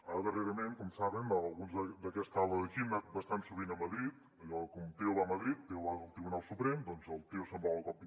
ara darrerament com saben alguns d’aquesta ala d’aquí hem anat bastant sovint a madrid allò com teo va a madrid teo va al tribunal suprem doncs el teo se’n va a la cop25